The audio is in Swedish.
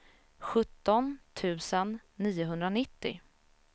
sjutton tusen niohundranittio